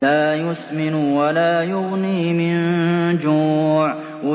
لَّا يُسْمِنُ وَلَا يُغْنِي مِن جُوعٍ